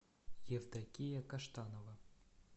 евдокия каштанова